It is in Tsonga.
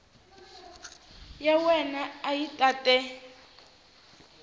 ya wena a yi tate